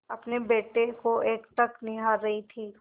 अपने बेटे को एकटक निहार रही थी